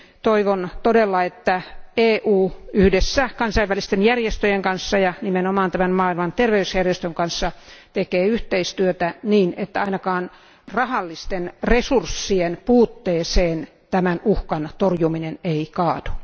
Toivon todella, että EU yhdessä kansainvälisten järjestöjen ja nimenomaan Maailman terveysjärjestön kanssa tekee yhteistyötä niin, että ainakaan rahallisten resurssien puutteeseen tämän uhkan torjuminen ei kaadu.